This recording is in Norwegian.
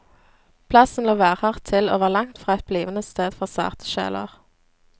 Plassen lå værhardt til, og var langtfra et blivende sted for sarte sjeler.